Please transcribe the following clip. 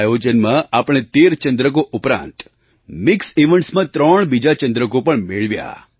આ આયોજનમાં આપણે 13 ચંદ્રકો ઉપરાંત મિક્સ eventsમાં 3 બીજા ચંદ્રકો પણ મેળવ્યા